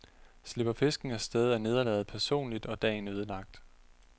Slipper fisken af sted, er nederlaget personligt og dagen ødelagt.